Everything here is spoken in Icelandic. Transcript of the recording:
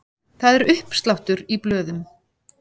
Það er uppsláttur í blöðum.